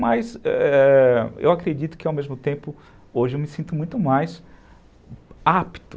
Mas, é... eu acredito que ao mesmo tempo, hoje eu me sinto muito mais apto.